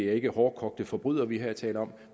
er de hårdkogte forbrydere vi her taler om